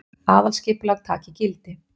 Aðalskipulag taki gildi